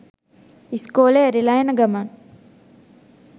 ඉස්කෝලෙ ඇරිලා එන ගමන්